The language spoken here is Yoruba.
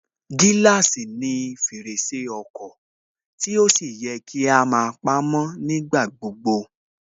Gíláàsì ni fèrèsé ọkọ̀ tí ó sì yẹ kí á máa pamó nígbà gbogbo